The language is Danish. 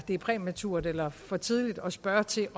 det er præmaturt eller for tidligt at spørge til